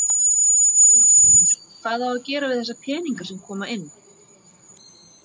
Magnús Hlynur: Hvað á að gera við þessa peninga sem koma inn?